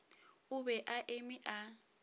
o be a eme a